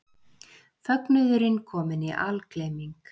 Fögnuðurinn kominn í algleyming.